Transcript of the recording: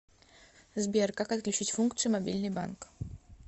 сбер как отключить функцию мобильный банк